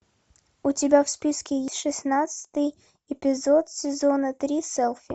у тебя в списке есть шестнадцатый эпизод сезона три селфи